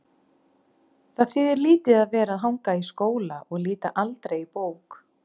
Það þýðir lítið að vera að hanga í skóla og líta aldrei í bók.